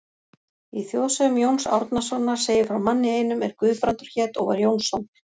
Í þjóðsögum Jóns Árnasonar segir frá manni einum er Guðbrandur hét og var Jónsson.